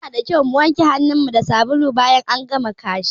Yana da kyau ka wanke hanun mu da sabulu bayan ka gama kashi